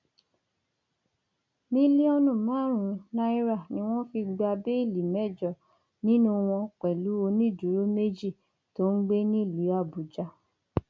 mílíọnù márùnún náírà ni wọn fi gba béèlì mẹjọ nínú wọn pẹlú onídùúró méjì tó ń gbé nílùú àbújá